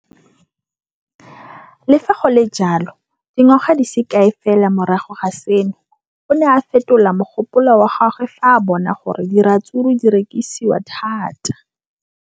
Le fa go le jalo, dingwaga di se kae fela morago ga seno, o ne a fetola mogopolo wa gagwe fa a bona gore diratsuru di rekisiwa thata.